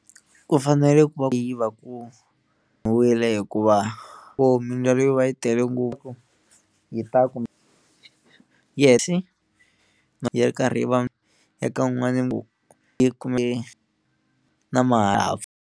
Ku fanele ku va ku yi va ku hikuva vo mindzwalo yo va yi tele ngopfu yi ta ku yehli yi ri karhi va eka un'wani yi na ma .